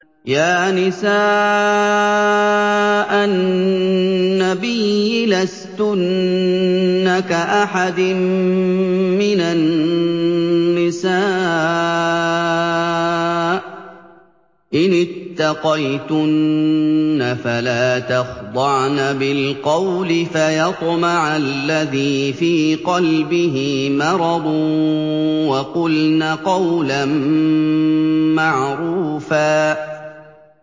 يَا نِسَاءَ النَّبِيِّ لَسْتُنَّ كَأَحَدٍ مِّنَ النِّسَاءِ ۚ إِنِ اتَّقَيْتُنَّ فَلَا تَخْضَعْنَ بِالْقَوْلِ فَيَطْمَعَ الَّذِي فِي قَلْبِهِ مَرَضٌ وَقُلْنَ قَوْلًا مَّعْرُوفًا